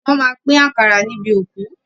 Wọ́n máa pín àkàrà níbi òkú.